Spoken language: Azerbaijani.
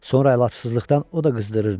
Sonra əlacızlıqdan o da qızdırırdı.